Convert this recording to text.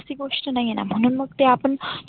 गोष्ट नाहीएना म्हणून ते आपण